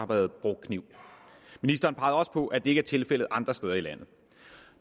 været brugt kniv ministeren pegede også på at det ikke er tilfældet andre steder i landet